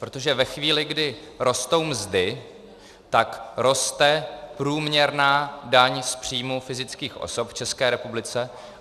Protože ve chvíli, kdy rostou mzdy, tak roste průměrná daň z příjmu fyzických osob v České republice.